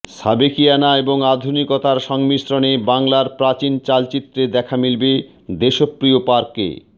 সাবেকিয়ানা এবং আধুনিকতার সংমিশ্রণে বাংলার প্রাচীন চালচিত্রের দেখা মিলবে দেশপ্রিয় পার্কে